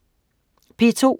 P2: